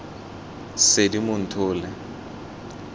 seedimonthole